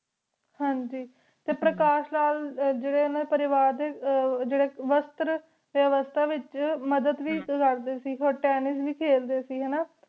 ਹੈਹਾਂਜੀ T Prakash ਨਾਲ ਜੇਰੀ ਓਹਨਾ ਦੇ ਪਰਿਵਾਰ ਕੋਲ ਵਿਯਾਸ੍ਤਰ ਵਿਵਾਸਤਾ ਵਿਚ ਮਦਦ ਵੇ ਕਰਦੀ ਸੇ ਹੋਰ ਤੇਨ੍ਨਿਸ ਵੇ ਖੇਲਦੇ ਸੇ ਹੈਨਾ